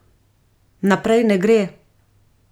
Naprej ne gre.